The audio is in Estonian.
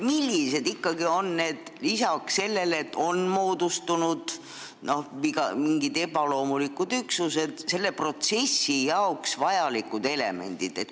Millised ikkagi on lisaks Jõhvile ebaloomulikud omavalitsusüksused?